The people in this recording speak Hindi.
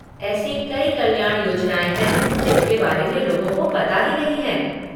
एसी कई कल्याण योजनाएँ हैं जिनके बारे में लोगों को पता ही नहीं है।